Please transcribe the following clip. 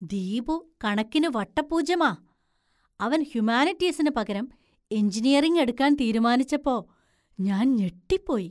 ദീപു കണക്കിനു വട്ടപ്പൂജ്യമാ. അവൻ ഹ്യുമാനിറ്റീസിന് പകരം എഞ്ചിനീയറിംഗ് എടുക്കാൻ തീരുമാനിച്ചപ്പോ ഞാൻ ഞെട്ടിപ്പോയി.